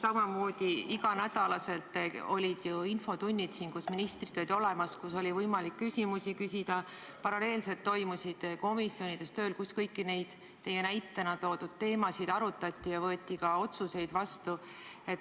Samamoodi olid iga nädal ju infotunnid, kus ministrid olid olemas, kus oli võimalik küsimusi küsida, paralleelselt toimus töö komisjonides, kus kõiki neid teie näitena toodud teemasid arutati ja võeti ka otsuseid vastu.